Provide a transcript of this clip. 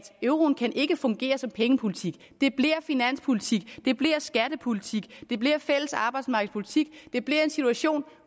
euroen ikke kan fungere som pengepolitik det bliver finanspolitik det bliver skattepolitik det bliver fælles arbejdsmarkedspolitik det bliver en situation